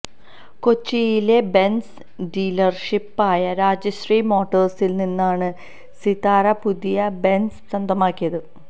കൊച്ചിയിലെ ബെൻസ് ഡീലർഷിപ്പായ രാജശ്രീ മോട്ടോഴ്സിൽ നിന്നാണ് സിതാര പുതിയ ബെന്സ് സ്വന്തമാക്കിയത്